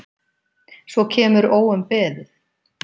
Svo kemur óumbeðið